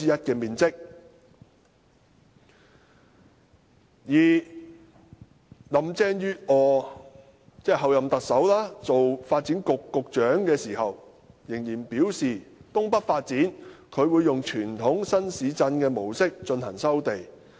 候任特首林鄭月娥任發展局局長時仍然表示，就東北的發展，她會以傳統新市鎮的模式進行收地。